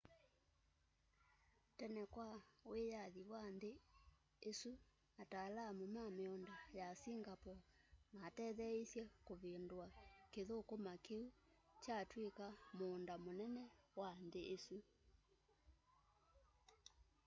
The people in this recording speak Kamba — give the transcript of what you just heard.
tene kwa wĩyathĩ wa nthĩ ĩsũ ataalamũ ma mĩũnda ya singapore matetheeĩsye kũvĩndũa kĩthũkũma kĩũ kyatwĩkũ mũũnda mũnene wa nthĩ ĩsũ